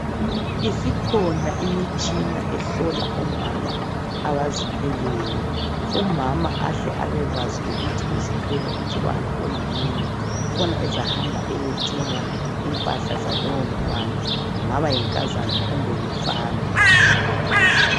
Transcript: Isikhona imitshina ehlola omama abazithweleyo umama ahle abakwazi ukuthi uzithwele umntwana oyini khona ezahamba eyethenga impahla zalowo mntwana kungaba yinkazana kumbe ngumfana